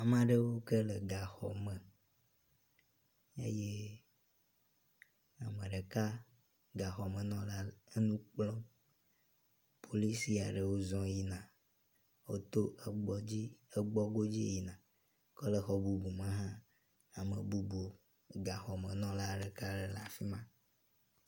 Ame aɖewo ke le gaxɔme eye ame ɖeka gaxɔmenɔla enu kplɔm. Polisi aɖewo zɔ yina. Woto egbɔdzi egbɔ go dzi yina. Ke le exɔ bubu me hã, ame bubu gaxɔmenɔla ɖeka aɖe le afi ma.